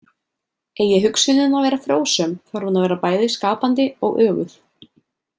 Eigi hugsunin að vera frjósöm þarf hún að vera bæði skapandi og öguð.